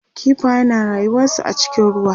kifaye na rayuwansu a cikin ruwa